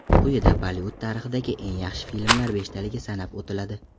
Quyida Bollivud tarixidagi eng yaxshi filmlar beshtaligi sanab o‘tiladi.